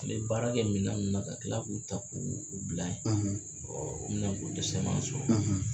baara kɛ minɛn ninnu na ka kila k'u ta k'u k'u u bila ye o minɛ ko dɛsɛ man sɔrɔ.